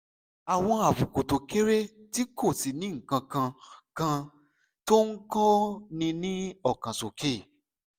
àwọn àbùkù tó kéré tí kò sì ní nǹkan kan tó ń kóni lọ́kàn sókè